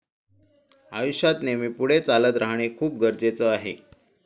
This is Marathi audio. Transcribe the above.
आयुष्यात नेहमी पुढे चालत राहणं खूप गरजेचं आहे.